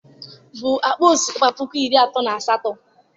bụ akpa osikapa puku iri atọ na asatọ